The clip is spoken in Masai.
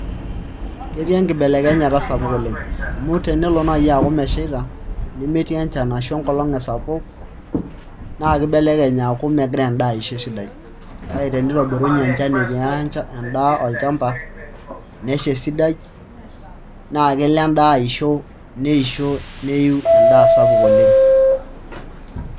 Ketii enkibelekenyata sapuk oleng' amu tenelo naai aaku meshaita nemetii enchan ashu enkolong' esapuk naa kibelekenye aaku megira endaa aisho esidai kake tenitobirunye enchan etii endaa olchamba nesha esidai naa kelo endaa aisho neisho neiu endaa sapuk oleng'.